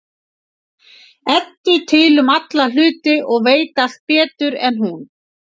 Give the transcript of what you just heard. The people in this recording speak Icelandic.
Eddu til um alla hluti og veit allt betur en hún.